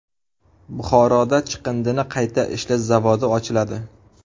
Buxoroda chiqindini qayta ishlash zavodi ochiladi.